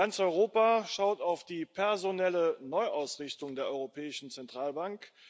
Ganz Europa schaut auf die personelle Neuausrichtung der Europäischen Zentralbank.